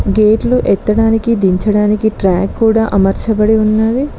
గేట్లు ఎత్తడానికి దించడానికి ట్రాక్ కూడా అమర్చబడి ఉన్నది.